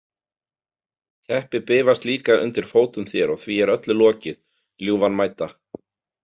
Teppið bifast líka undir fótum þér og því er öllu lokið, ljúfan mædda.